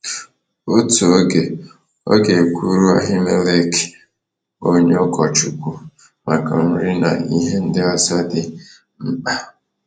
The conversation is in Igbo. Otu oge, ọ ga kwuru Ahimelech, onye ụkọchukwu, maka nri na ihe ndị ọzọ dị mkpa.